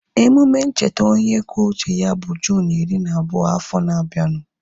Emume ncheta onye kwuo uche ya bụ Juunu iri na abụọ afọ na abianu